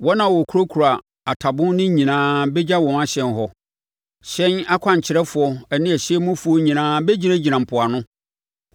Wɔn a wɔkurakura atabon no nyinaa bɛgya wɔn ahyɛn hɔ; hyɛn akwankyerɛfoɔ ne hyɛn mufoɔ nyinaa bɛgyinagyina mpoano.